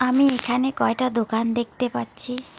আমি এখানে কয়টা দোকান দেখতে পাচ্ছি।